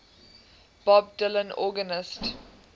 bob dylan organist